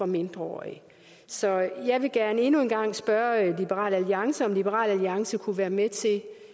mindreårige så jeg vil gerne endnu en gang spørge liberal alliance om liberal alliance kunne være med til